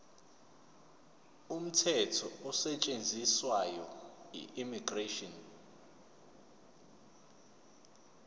umthetho osetshenziswayo immigration